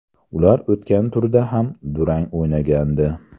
Ular o‘tgan turda ham durang o‘ynagandi.